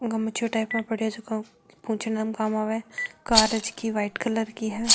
गमछों टाइप में पड़यो है जको पोछने में काम आवे कार है जकी वाइट कलर की है।